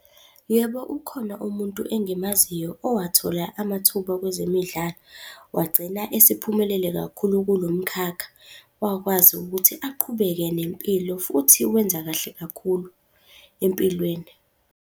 Yebo, ukhona umuntu engimaziyo owathola amathuba kwezemidlalo, wagcina esephumelele kakhulu kulo mkhakha, wakwazi ukuthi aqhubeke nempilo futhi wenza kahle kakhulu empilweni.